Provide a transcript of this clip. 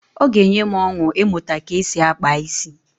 Ọ ga-enye m ọṅụ ịmụta ka e si akpa isi.